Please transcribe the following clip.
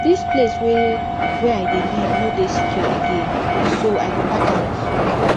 dis place wey wey i dey live no dey secure again so i go park out